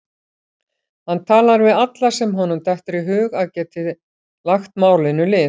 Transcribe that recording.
Hann talar við alla sem honum dettur í hug að geti lagt málinu lið.